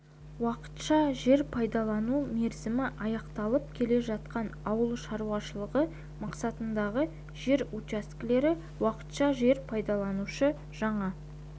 уақытша жер пайдалану мерзімі аяқталып келе жатқан ауыл шаруашылығы мақсатындағы жер учаскелері уақытша жер пайдаланушы жаңа